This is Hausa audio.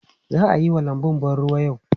Za a yi wa lanbun ban ruwa yau?